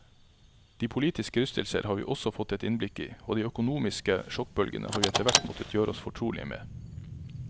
De politiske rystelser har vi også fått et innblikk i, og de økonomiske sjokkbølgene har vi etterhvert måttet gjøre oss fortrolige med.